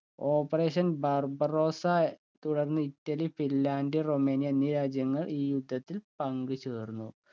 operation Barbarossa തുടർന്ന് Italy Finland Romania എന്നീ രാജ്യങ്ങൾ ഈ യുദ്ധത്തിൽ പങ്കുചേർന്നു